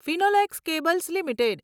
Finolex cables limited